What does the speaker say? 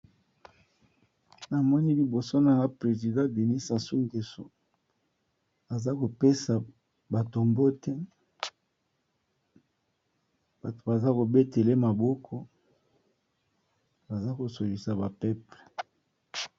Na moni liboso na nga president Deni Sasu Gweso. Aza ko pesa bato mbote. Bato baza ko betele ye maboko. Baza ko sololisa ba peple.